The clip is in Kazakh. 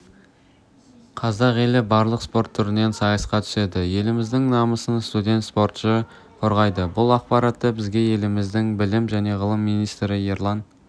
қазақ елі барлық спорт түрінен сайысқа түседі еліміздің намысын студент спортшы қорғайды бұл ақпаратты бізге еліміздің білім және ғылым министрі ерлан